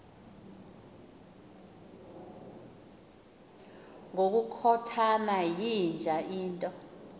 ngokukhothana yinja into